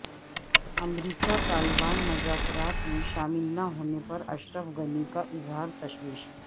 امریکہ طالبان مذاکرات میں شامل نہ ہونے پر اشرف غنی کا اظہار تشویش